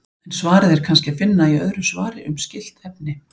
En svarið er kannski að finna í öðru svari um skylt efni.